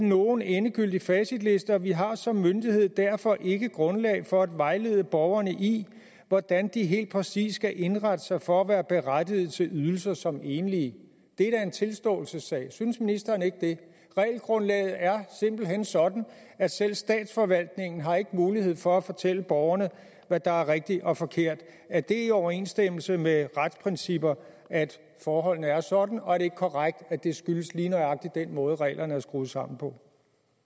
nogen endegyldig facitliste og vi har som myndighed derfor ikke grundlag for at vejlede borgerne i hvordan de helt præcis skal indrette sig for at være berettiget til ydelser som enlige det er da en tilståelsessag synes ministeren ikke det regelgrundlaget er simpelt hen sådan at selv statsforvaltningen ikke har mulighed for at fortælle borgerne hvad der er rigtigt og forkert er det i overensstemmelse med retsprincipper at forholdene er sådan og er det ikke korrekt at det skyldes lige nøjagtig den måde reglerne er skruet sammen på